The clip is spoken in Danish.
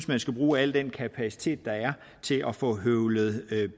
man skal bruge al den kapacitet der er til at få høvlet